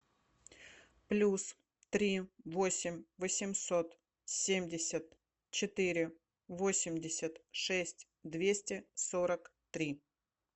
плюс три восемь восемьсот семьдесят четыре восемьдесят шесть двести сорок три